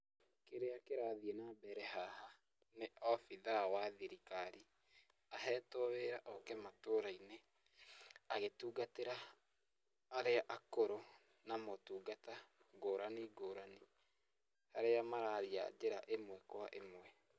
Kĩrĩa kĩrathiĩ na mbere haha, nĩ obitha wa thirikari, ahetwo wĩra oke matũrainĩ, agĩtungatĩra, arĩa akũrũ, na motungata ngũrani ngũrani, arĩa mararia njĩra ĩmwe kwa ĩmwe.